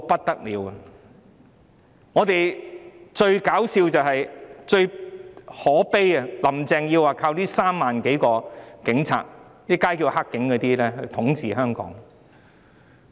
然而，最可笑又可悲的是，"林鄭"說要靠這3萬多個警察——市民現稱為"黑警"——來統治香港。